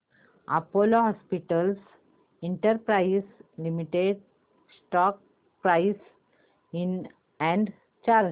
Apollo Hospitals Enterprise Limited stock price and chart